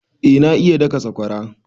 Eh na iya daka sakwara